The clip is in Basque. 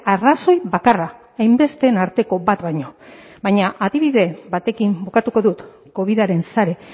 arrazoi bakarra hainbesteen arteko bat baino baina adibide batekin bukatuko dut covidaren sare